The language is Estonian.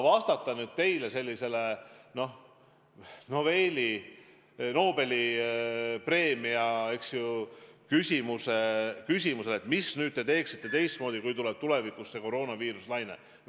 Aga anda teile selline Nobeli preemiat väärt vastus, mida me teeksime nüüd teistmoodi, kui tuleb tulevikus see koroonaviiruse laine, on raske.